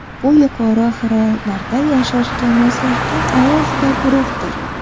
Bu yuqori haroratlarda yashashga moslashgan alohida guruhdir.